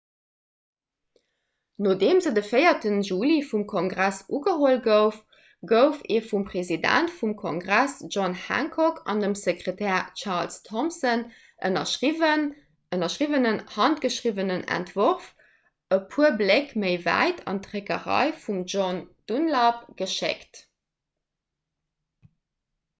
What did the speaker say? nodeem se de 4 juli vum kongress ugeholl gouf gouf ee vum president vum kongress john hancock an dem sekretär charles thomson ënnerschriwwenen handgeschriwwenen entworf e puer bléck méi wäit an d'dréckerei vum john dunlap geschéckt